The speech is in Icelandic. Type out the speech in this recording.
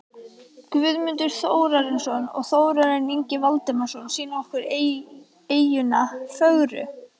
Guðmundur Þórarinsson og Þórarinn Ingi Valdimarsson sýna okkur eyjuna fögru.